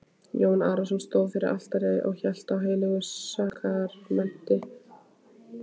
Jón Arason stóð fyrir altari og hélt á heilögu sakramenti.